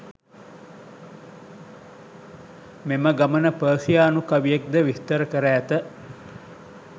මෙම ගමන පර්සියානු කවියෙක් ද විස්තර කර ඇත.